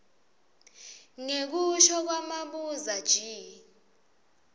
ngekusho kwamabuza g